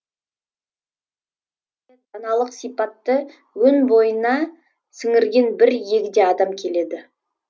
даналық өн бойына сіңірген бір егде адам келеді